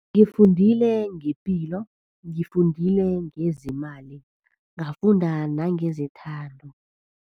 Ngifundile ngepilo. Ngifundile ngezemali, ngafunda nangezethando.